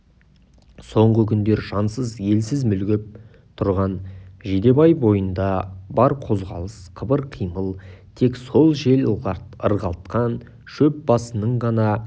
соңғы күндер жансыз елсіз мүлгіп тұрған жидебай бойында бар қозғалыс қыбыр-қимыл тек сол жел ырғалтқан шөп басының ғана